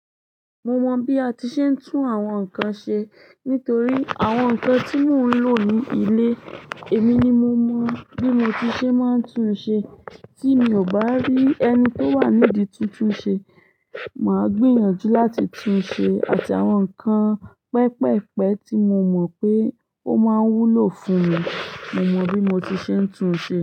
Mo mọ bí a ti ṣe ń tún àwọn nkan ṣe nítorí àwọn nkan tí mò ń lò ní ilé, èmi ni mo mọ bí mo ti ṣe máa ń tún ṣe. Tí mi ò bá rí ẹni tó wà nídi tún tún ṣe, màá gbìyànjú láti tún ṣe àti àwọn nkan pẹpẹpẹ tí mo mọ pé ó máa wúlò fún mi. Mo mọ bí mo ti ṣe ń tún ṣe.